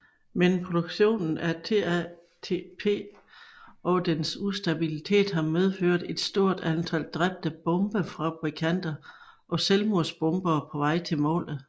Men produktionen af TATP og dens ustabilitet har medført et stort antal dræbte bombefabrikanter og selvmordsbombere på vej til målet